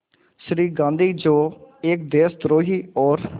श्री गांधी जो एक देशद्रोही और